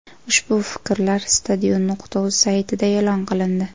Ushbu fikrlar Stadion.uz saytida e’lon qilindi.